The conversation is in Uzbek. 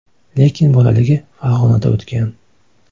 Lekin bolaligi Farg‘onada o‘tgan.